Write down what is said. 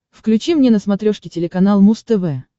включи мне на смотрешке телеканал муз тв